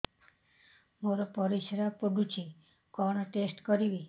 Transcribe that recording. ମୋର ପରିସ୍ରା ପୋଡୁଛି କଣ ଟେଷ୍ଟ କରିବି